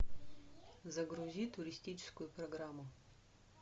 загрузи туристическую программу